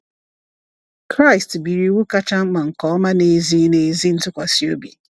Kraịst biri iwu kacha mkpa nke ọma na ezi na ezi ntụkwasị obi.